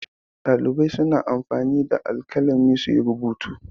Ɗalibai suna anfani da alƙalami su yi rubutu.